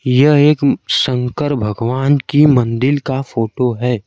यह एक शंकर भगवान की मंदिल का फोटो है।